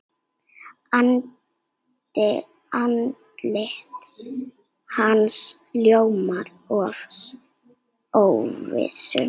Andlit hans ljómar af óvissu.